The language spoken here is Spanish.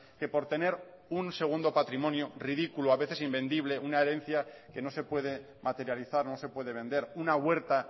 que por tener un segundo patrimonio ridículo a veces invendible una herencia que no se puede materializar no se puede vender una huerta